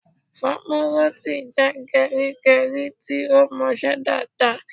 Famuroti jẹ́ gerigeri tí ó mọ ṣe dáadáa